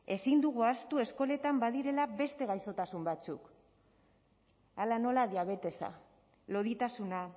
ezin dugu ahaztu eskoletan badirela beste gaixotasun batzuk hala nola diabetesa loditasuna